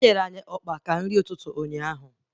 Enyere anyị ọkpa maka nri ụtụtụ ụnyaahụ